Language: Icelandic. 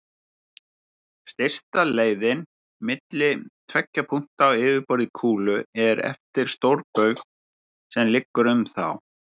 Stysta leiðin milli tveggja punkta á yfirborði kúlu er eftir stórbaug sem liggur um þá.